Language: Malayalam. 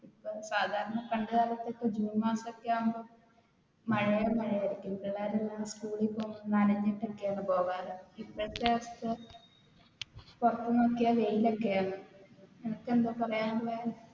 സാധാരണ പണ്ട് കാലത്തു ജൂൺ മാസം ഒക്കെയാകുമ്പോൾ ഭയങ്കര മഴയായിരുന്നു പിള്ളേർ school ൽ പോകുമ്പോൾ നനഞ്ഞിട്ട് ഒക്കെയാണ് പോകാറ് ഇപ്പോഴത്തെ അവസ്ഥ പുറത്തു നോക്കിയാൽ വെയിലൊക്കെയാണ്, നിനക്കെന്താ പറയാനുള്ളത്?